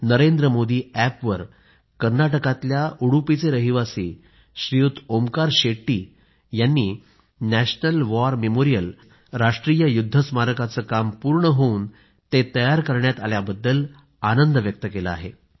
नरेंद्रमोदीअॅपवर कर्नाटकातल्या उडुपीचे रहिवासी श्रीयुत ओंकार शेट्टी यांनी नॅशनल वॉर मेमोरियल म्हणजेच राष्ट्रीय युद्ध स्मारकाचे काम पूर्ण होऊन ते तयार करण्यात आल्याबद्दल आनंद व्यक्त केला आहे